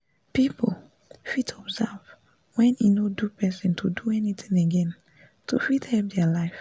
people fit observe wen e no do person to do anything again to fit help dia life